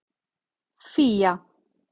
Fía